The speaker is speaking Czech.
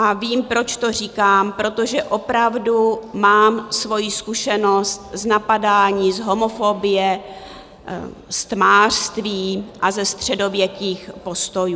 A vím, proč to říkám, protože opravdu mám svoji zkušenost z napadání, z homofobie, z tmářství a ze středověkých postojů.